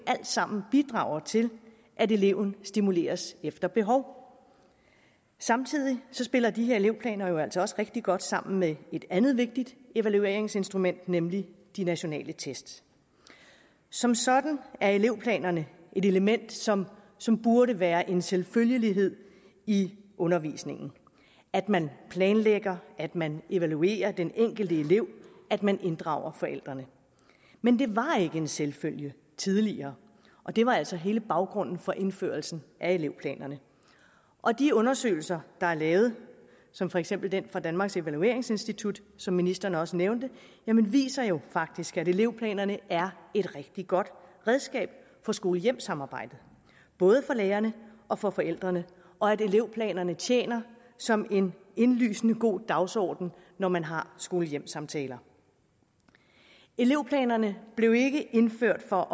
alt sammen til at eleven stimuleres efter behov samtidig spiller de her elevplaner jo altså også rigtig godt sammen med et andet vigtigt evalueringsinstrument nemlig de nationale test som sådan er elevplanerne et element som som burde være en selvfølgelighed i undervisningen at man planlægger at man evaluerer den enkelte elev at man inddrager forældrene men det var ikke en selvfølge tidligere og det var altså hele baggrunden for indførelsen af elevplanerne og de undersøgelser der er lavet som for eksempel den fra danmarks evalueringsinstitut som ministeren også nævnte viser jo faktisk at elevplanerne er et rigtig godt redskab for skole hjem samarbejdet både for lærerne og for forældrene og at elevplanerne tjener som en indlysende god dagsorden når man har skole hjem samtaler elevplanerne blev ikke indført for